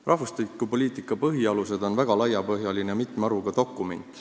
"Rahvastikupoliitika põhialused" on väga laiapõhjaline ja mitme haruga dokument.